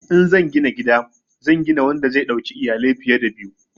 In zan gina gida zan gina wanda zai dauki iyalai fiye da biyu.